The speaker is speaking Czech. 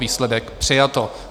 Výsledek: přijato.